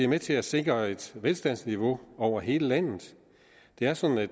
med til at sikre et velstandsniveau over hele landet det er sådan at